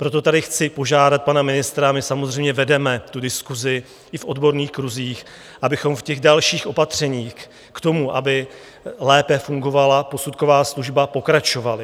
Proto tady chci požádat pana ministra, a my samozřejmě vedeme tu diskusi i v odborných kruzích, abychom v těch dalších opatřeních k tomu, aby lépe fungovala posudková služba, pokračovali.